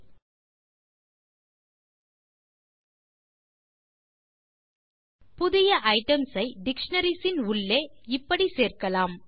| |409 | புதிய ஐட்டம்ஸ் ஐ டிக்ஷனரிஸ் உள் இப்படி சேர்க்கலாம்